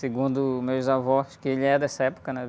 Segundo meus avós, que ele é dessa época, né?